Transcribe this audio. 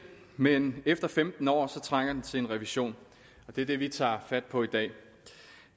men efter femten år trænger den til en revision og det er det vi tager fat på i dag